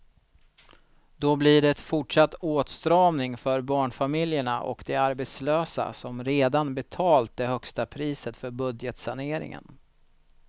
Då blir det fortsatt åtstramning för barnfamiljerna och de arbetslösa som redan betalat det högsta priset för budgetsaneringen.